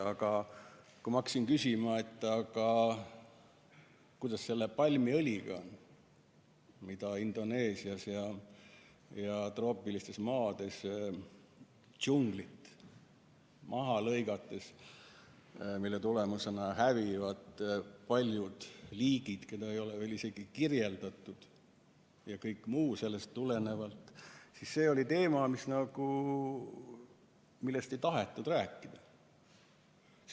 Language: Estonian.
Aga kui ma hakkasin küsima, kuidas on selle palmiõliga, mida Indoneesias ja mujal troopilistes maades toodetakse džungli mahalõikamise hinnaga, mille tagajärjel hävivad paljud liigid, keda ei ole veel isegi kirjeldatud, ja kõige muu sellest tulenevaga, siis see oli teema, millest nagu ei tahetud rääkida.